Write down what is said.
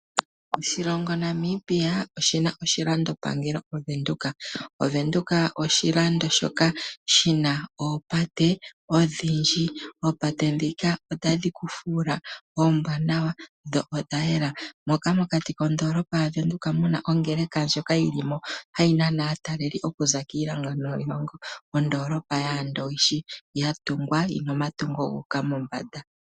Oshilongo Namibia oshina oshilando pangelo Ovenduka. Ovenduka oshilando shoka shina oopate odhindji, oopate dhika otadhi ku fuula oombwaanawa dho odhayela. Moka mokati kondoolopa yaVenduka muna ongeleka ndjoka yili mo hayi nana aataleli okuza kiilongo niilongo. Ondoolopa yaandowishi ya tungwa yina omatungo gu uka mombanda.